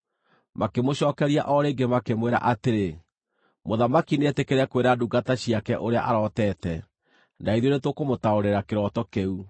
Makĩmũcookeria o rĩngĩ makĩmwĩra atĩrĩ, “Mũthamaki nĩetĩkĩre kwĩra ndungata ciake ũrĩa arotete, na ithuĩ nĩtũkũmũtaũrĩra kĩroto kĩu.”